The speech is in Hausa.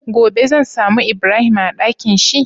Gobe zan samu ibrahim a Ɗakinshi?